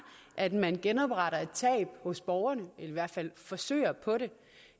at man genopretter et tab hos borgerne eller i hvert fald forsøger på det